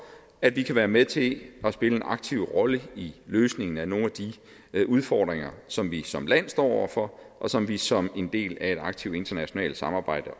at vi kan være med til at spille en aktiv rolle i løsningen af nogle af de udfordringer som vi som land står over for og som vi som en del af et aktivt internationalt samarbejde